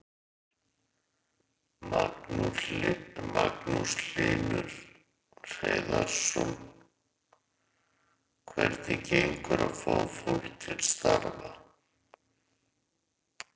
Magnús Hlynur Hreiðarsson: Hvernig gengur að fá fólk til starfa?